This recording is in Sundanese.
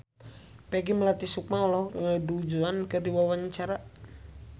Peggy Melati Sukma olohok ningali Du Juan keur diwawancara